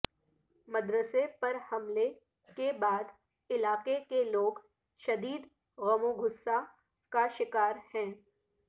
مدرسے پر حملے کے بعد علاقے کے لوگ شدید غم و غصہ کا شکار ہیں